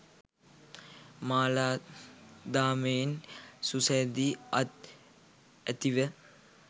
මාලාදාමයෙන් සුසැදි අත් ඇතිව